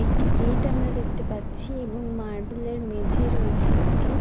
একটি গেট আমরা দেখতে পাচ্ছি এবং মার্বেলের মেঝে রয়েছে একটি।